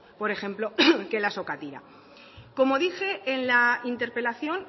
por ejemplo que la sokatira como dije en la interpelación